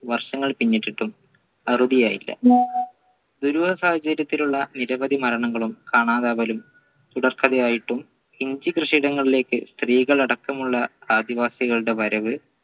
വർഷങ്ങൾ പിന്നിട്ടിട്ടും അറുതിയായില്ല ദുരൂഹ സാഹചര്യത്തിൽ ഉള്ള നിരവധി മരണങ്ങളും കാണാതാവലും തുടർക്കഥയായിട്ടും ഇഞ്ചി കൃഷിയിടങ്ങളിലേക്ക് സ്ത്രീകൾ അടക്കമുള്ള ആദിവാസികളുടെ വരവ്